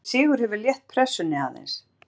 Þessi sigur hefur létt pressunni aðeins.